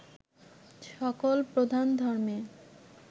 সকল প্রধান ধর্মে